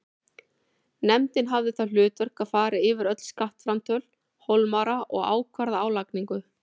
Nefndin hafði það hlutverk að fara yfir öll skattframtöl Hólmara og ákvarða álagningu.